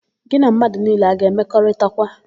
Gị na mmadụ niile a ga-emekọrịtakwa?